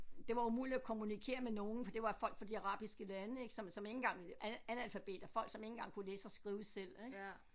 Det var umuligt at kommunikere med nogen for det var folk fra de arabiske lande ik som som ikke engang analfabeter folk som ikke engang kunne læse og skrive selv ik